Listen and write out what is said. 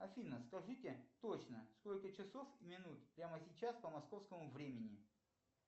афина скажите точно сколько часов минут прямо сейчас по московскому времени